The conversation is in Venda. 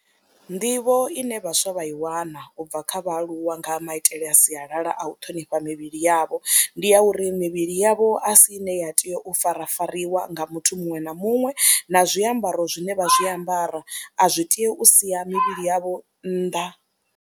Nḓivho ine vhaswa vha i wana u bva kha vhaaluwa nga maitele a sialala a u ṱhonifha mivhili yavho, ndi ya uri mivhili yavho a si ine ya tea u farafariwa nga muthu muṅwe na muṅwe na zwiambaro zwine vha zwiambara a zwi tei u sia mivhili yavho nnḓa.